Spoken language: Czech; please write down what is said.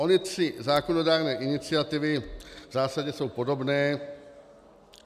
Ony tři zákonodárné iniciativy v zásadě jsou podobné.